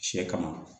Sɛ kama